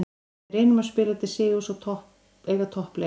Við reynum að spila til sigurs og eiga toppleik.